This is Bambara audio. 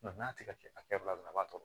n'a tɛ ka hakɛ bila a b'a tɔ bɔ